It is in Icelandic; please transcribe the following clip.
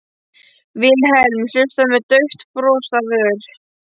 Vilhelm hlustaði með dauft bros á vör.